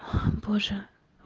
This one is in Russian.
боже